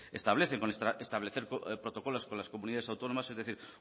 establecen con establecer protocolos con las comunidades autónomas es decir